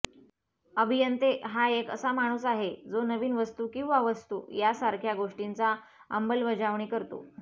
अभियंते हा एक असा माणूस आहे जो नवीन वस्तू किंवा वस्तू यासारख्या गोष्टींचा अंमलबजावणी करतो